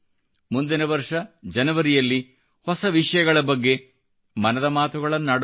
ಮುಂದಿನ ವರ್ಷ ಜನವರಿಯಲ್ಲಿ ಹೊಸ ವಿಷಯಗಳ ಬಗ್ಗೆ ಮನದ ಮಾತುಗಳನ್ನಾಡೋಣ